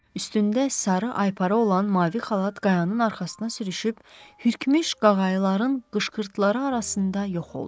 Üstündə sarı aypara olan mavi xalat qayanın arxasına sürüşüb hürkmüş qağayıların qışqırtıları arasında yox oldu.